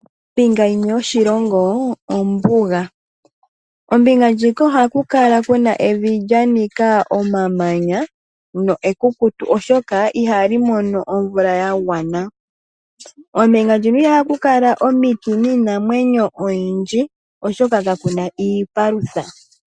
Iilongo yimwe yoshilongo ombuga. Ombinga ndjika ohaku kala kuna evi lya nika omamanya lyo ekukutu oshoka ihali mono omeya ga gwana. Ombinga ndjino ihaku kala omiti niinamwenyo oyindji oshoka kakuna iipalutha.